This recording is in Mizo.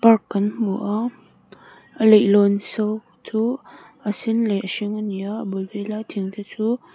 park kan hmu a a leihlawn saw chu a sen leh a hring a ni a a bul vela thingte chu--